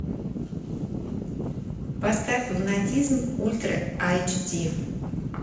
поставь лунатизм ультра эйч ди